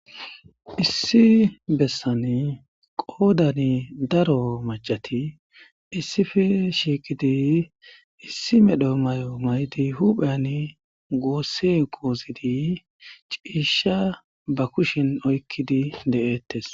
issi bessan qoodani daro macati issife shiiqidi issi medho may7o maydi hupheyan goossi qouzidi ciisha ba kushin oykkidi de7ettes